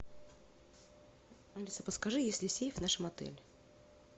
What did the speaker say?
алиса подскажи есть ли сейф в нашем отеле